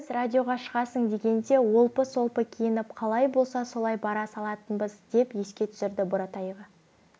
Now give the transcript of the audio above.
біз радиоға шығасың дегенде олпы-солпы киініп қалай болса солай бара салатынбыз деп еске түсірді буратаева